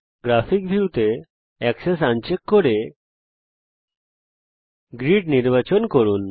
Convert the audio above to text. graphic view তে axes uncheck করে grid নির্বাচন করুন